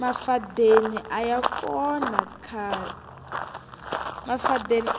mafadeni